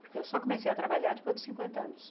Porque eu só comecei a trabalhar depois dos cinquenta anos.